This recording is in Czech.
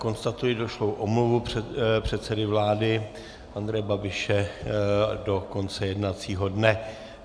Konstatuji došlou omluvu předsedy vlády Andreje Babiše do konce jednacího dne.